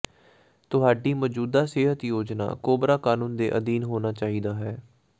ਤੁਹਾਡੀ ਮੌਜੂਦਾ ਸਿਹਤ ਯੋਜਨਾ ਕੋਬਰਾ ਕਾਨੂੰਨ ਦੇ ਅਧੀਨ ਹੋਣਾ ਚਾਹੀਦਾ ਹੈ